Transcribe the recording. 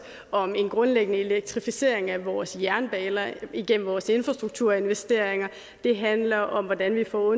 om en grundlæggende elektrificering af vores jernbaner igennem vores infrastrukturinvesteringer det handler om hvordan vi får